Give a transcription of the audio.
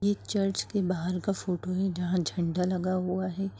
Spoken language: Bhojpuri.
ये चर्च के बाहर का फोटो है जहाँ झंड़ा लगा हुआ है।